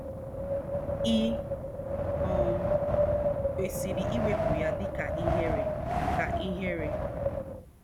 Ì um kwesịrị iwepụ ya dị ka ihere? ka ihere?